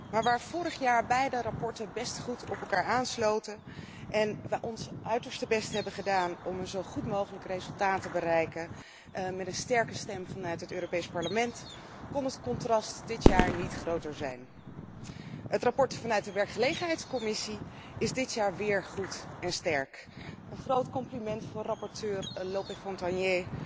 Maar waar vorig jaar beide verslagen best goed op elkaar aansloten en wij onze uiterste best hebben gedaan om een zo goed mogelijk resultaat te bereiken met een sterke stem vanuit het Europees Parlement, kon het contrast dit jaar niet groter zijn. Het verslag vanuit de werkgelegenheidscommissie is dit jaar weer goed en sterk. Een groot compliment voor rapporteur Lope Fontagné,